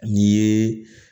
N'i ye